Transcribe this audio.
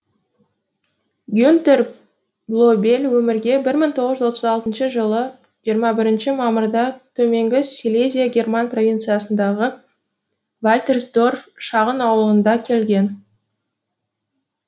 гюнтер блобель өмірге бір мың тоғыз жүз отыз алтыншы жылы жиырма бірінші мамырда төменгі силезия герман провинциясындағы вальтерсдорф шағын ауылында келген